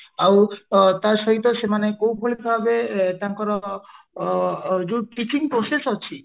ଆଉ ତାସହିତ ସେମାନେ କୋଉଭଳି ଭାବେ ତାଙ୍କର ଯୋଉ teaching process ଅଛି